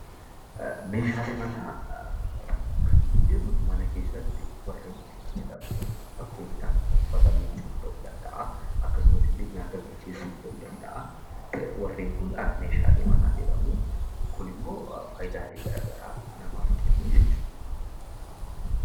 Meeshaalee manaa kan nuti jennu warreen mana keessatti warreen itti fayyadamnu dha. Fakkeenyaaf uffata miicuuf ta'uu danda'aa, akkasumas nyaata bilcheessuuf ta'uu danda'aa warreen kun meeshaalee manaa jedhamu. Kun immoo faayidaalee gara garaa namaaf kennu jechuu dha.